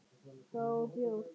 Það og bjór.